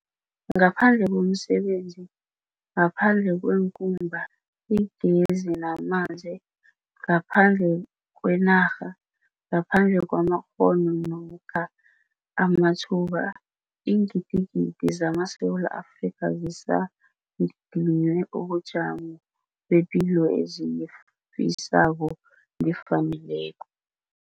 Ngaphandle komsebenzi, ngaphandle kweenkumba, igezi namanzi, ngaphandle kwenarha, ngaphandle kwamakghono namkha amathuba, iingidigidi zamaSewula Afrika zisadinywe ubujamo bepilo eziyifisako nefaneleko.